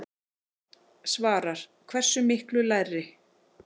Svavar: Hversu miklu lægri?